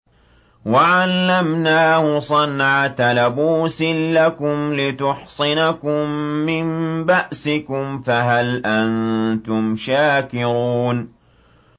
وَعَلَّمْنَاهُ صَنْعَةَ لَبُوسٍ لَّكُمْ لِتُحْصِنَكُم مِّن بَأْسِكُمْ ۖ فَهَلْ أَنتُمْ شَاكِرُونَ